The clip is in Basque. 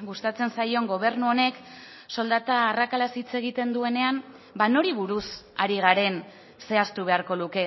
gustatzen zaion gobernu honek soldata arrakalaz hitz egiten duenean nori buruz ari garen zehaztu beharko luke